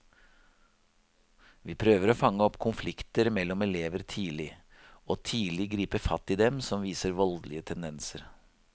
Vi prøver å fange opp konflikter mellom elever tidlig, og tidlig gripe fatt i dem som viser voldelige tendenser.